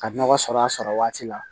Ka nɔgɔ sɔr'a sɔrɔ waati la